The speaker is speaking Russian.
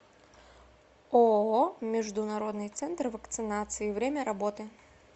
ооо международный центр вакцинации время работы